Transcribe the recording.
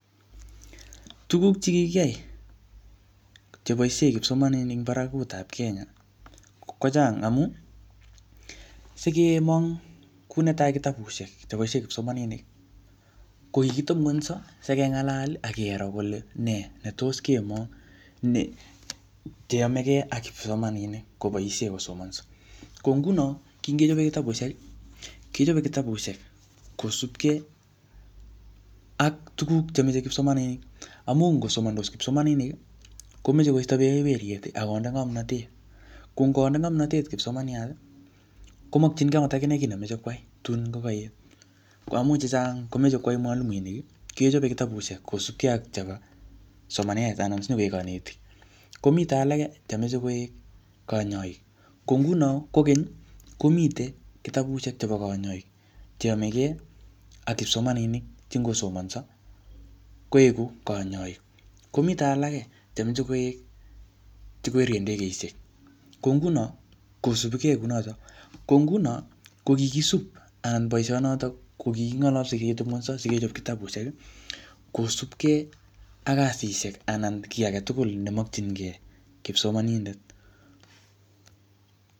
Tuguk che kikiyai, che boisie kipsomaninik eng barakutap Kenya, kochang. Amuu sikemong kuu netai kitabusiek che boisie kipsomaninik, ko kikitebungunyso, sikengalal, akero kole nee netos kemong ne cheyamegei ak kipsomaninik koboisie kosomanso. Ko nguno, kingechope kitabusiek, kichope kitabusiek kosupke ak tuguk chemeche kipsomaninik. Amuu ngosomandos kipsomaninik, komeche koisto berberiet akonde ngomnotet. Ko ngonde ngomnotet kipsomaniat, komakchinkei angot akine kiy nemeche kwai tun ko kaet. Ko amuu chechang komeche kwai mwalimuinik, kechope kitabusiek kosubkei ak chebo somanet anan sinyikoek kanetik. Komite alake chemeche koek kanyaik. Ko nguno kokeny, komitei kitabusiek chebo kanyaik, che yamege ak kipsomaninik che ngosomanso, koeku kanyaik. Komite alage che meche koek, che kwerie ndegeishek. Ko nguno, kosubikei kounotok. Ko nguno, ko kikisup anan boisonotok, ko kikingalalse siketebungunso, sikechop kitabusiek, kosupkey ak kasishek anan kiy age tugul nemakchinkey kipsomanindet